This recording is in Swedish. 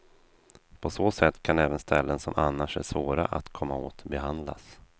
På så sätt kan även ställen som annars är svåra att komma åt behandlas.